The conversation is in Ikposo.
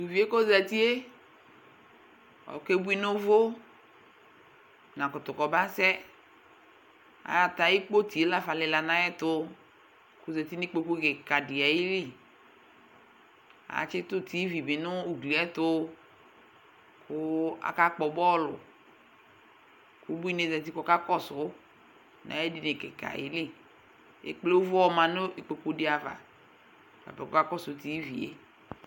Tuvie kozatie , okebui nuvuNakutu kɔbasɛAatɛ ayiʋ kpotie la fa lila nayɛtu, kozati nikpoku kika di ayiliAtsitu TV bi nʋ ugliɛ ayɛtuKʋ akakpɔ bɔluKʋ ubuinie zati kɔkakɔsu nayedini kika yɛ liEkple ʋvʋ yɔma nʋ ikpoku di ava ,bapɛ kɔkakɔsʋ TV yɛ